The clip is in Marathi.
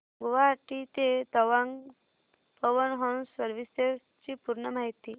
गुवाहाटी ते तवांग पवन हंस सर्विसेस ची पूर्ण माहिती